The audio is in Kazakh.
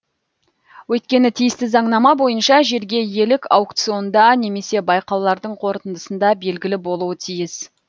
өйткені тиісті заңнама бойынша жерге иелік аукционда немесе байқаулардың қорытындысында белгілі болуы тиіс